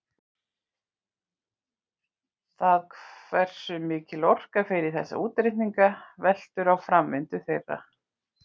Það hversu mikil orka fer í þessa útreikninga veltur á framvindu þeirra.